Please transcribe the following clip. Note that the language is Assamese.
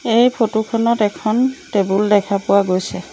এই ফটোখনত এখন টেবুল দেখা পোৱা গৈছে।